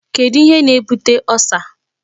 Kedu ihe na-ebute Ulcer?